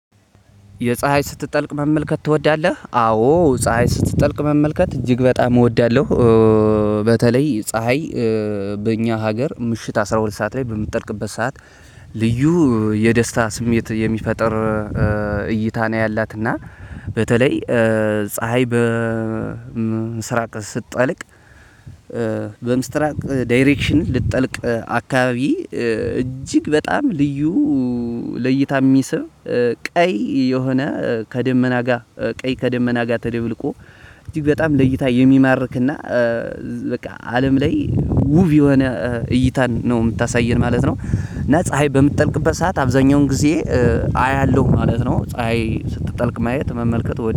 የፀሀይ ስትጠልቅ መመልከት ትወዳለህ? አዎ ፀሀይ ስትጠልቅ መመልከት እጅግ በጣም እወዳለሁ። በተለይ ፀሀይ በኛ ሀገር ምሽት አስራሁለት ሰዓት ላይ በምትጠልቅበት ሰዓት ልዩ የደስታስሜት የሚፈጥር እይታ ነው። ያላት እና በተለይ ፀሀይ በምስራቅ ስትጠልቅ። በምስራቅ ዳይሬክሽን ልትጠልቅ አካባቢ እጅግ በጣም ልዩ ለይታ የሚስብ ቀይ የሆነ ከደመና ጋር ቀይ ከደመና ጋር ተደብልቆ እጅግ በጣም ለይታ የሚማርክና በቃ አለም ላይ ውብ የሆነ እይታን ነው የምታሳየን ማለት ነው። እና ፀሀይ በምትጠልቅበት ሰዓት አብዛኛውን ጊዜ አያለሁ ማለት ነው። ፀሀይ ስትጠልቅ ማየት መመልከት